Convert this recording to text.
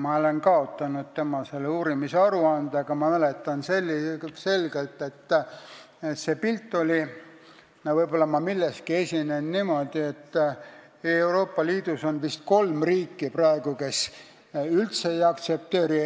Ma olen kaotanud tema uurimise aruande, aga ma mäletan, et pilt on selline – võib-olla ma milleski eksin –, et Euroopa Liidus on praegu kolm riiki, kes üldse ei aktsepteeri